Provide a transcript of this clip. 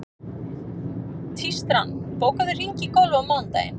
Tístran, bókaðu hring í golf á mánudaginn.